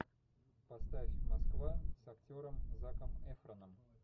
поставь москва с актером заком эфроном